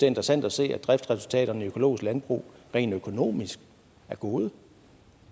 interessant at se at driftsresultaterne i økologisk landbrug rent økonomisk er gode